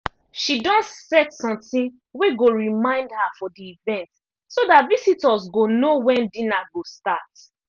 she don set sometin wey go remind her for the event so that visitors go know wen dinner go start.